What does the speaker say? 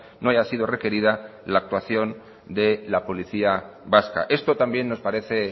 no haya sido requerida la actuación de la policía vasca esto también nos parece